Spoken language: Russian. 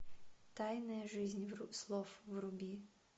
тайная жизнь слов вруби